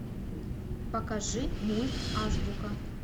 покажи мульт азбука